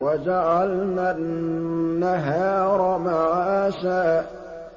وَجَعَلْنَا النَّهَارَ مَعَاشًا